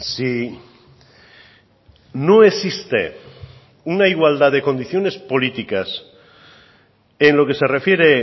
si no existe una igualdad de condiciones políticas en lo que se refiere